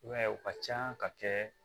I b'a ye u ka can ka kɛ